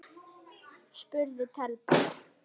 spurði telpan.